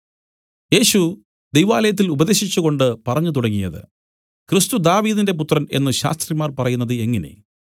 യേശു ദൈവാലയത്തിൽ ഉപദേശിച്ചുകൊണ്ട് പറഞ്ഞു തുടങ്ങിയത് ക്രിസ്തു ദാവീദിന്റെ പുത്രൻ എന്നു ശാസ്ത്രിമാർ പറയുന്നത് എങ്ങനെ